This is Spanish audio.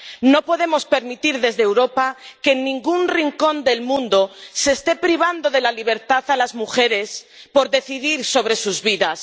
No podemos permitir desde Europa que en ningún rincón del mundo se esté privando de la libertad a las mujeres por decidir sobre sus vidas.